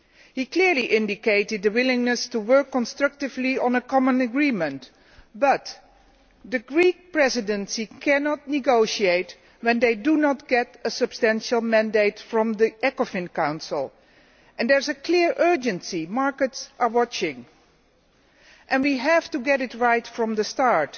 He clearly indicated the willingness to work constructively on a common agreement, but the Greek Presidency cannot negotiate when they do not get a substantial mandate from the Ecofin Council and there is a clear urgency the markets are watching, so we have to get it right from the start.